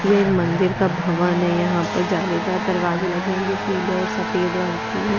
ये एक मंदिर का भवन है यहाँ पर जालेदार दरवाजे लगे हैं जो पीले और सफेद रंग के हैं।